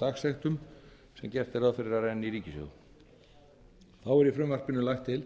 dagsektum sem gert er ráð fyrir að renni í ríkissjóð þá er í frumvarpinu lagt til